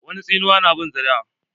Wani tsinuwan na bin zuri'a.